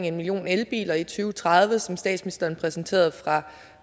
en million elbiler i to tusind og tredive og som statsministeren præsenterede